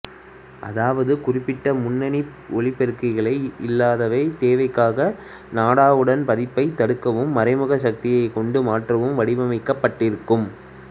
அதாவது குறிப்பிட்ட முன்னிணைப்புஒலிபெருக்கி இல்லாதவை தேவைக்காகவே நாடாவின் பாதிப்பைத் தடுக்கவும் மறைமுக சக்தியைக் கொண்டு மாற்றவும் வடிவமைக்கப்பட்டிருக்கும்